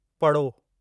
पड़ो